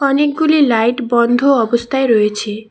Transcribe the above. অনেকগুলি লাইট বন্ধ অবস্থায় রয়েছে।